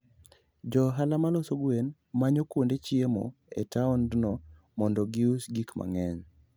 Jo ohala ma loso gwen manyo kuonde chiemo e taondno mondo gius gik mang'eny.